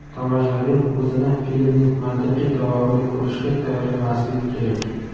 Tomoshabin o‘zini filmning mantiqiy davomini ko‘rishga tayyorlamasligi kerak.